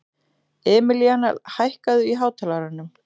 Emilíana, hækkaðu í hátalaranum.